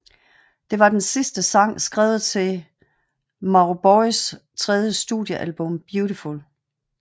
Det var den sidste sang skrevet til Mauboys tredje studiealbum Beautiful